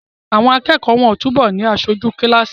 Àwọn akẹ́kọ̀ọ́ wọ́n ó túbọ̀ ni aṣojú kíláàsì